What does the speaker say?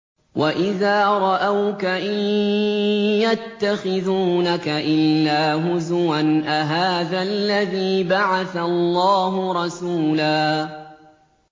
وَإِذَا رَأَوْكَ إِن يَتَّخِذُونَكَ إِلَّا هُزُوًا أَهَٰذَا الَّذِي بَعَثَ اللَّهُ رَسُولًا